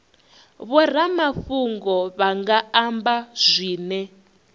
vhoramafhungo vha nga amba zwine